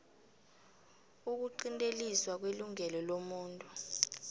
ukuqinteliswa kwelungelo lomuntu